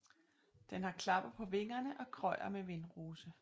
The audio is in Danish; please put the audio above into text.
Den har klapper på vingerne og krøjer med vindrose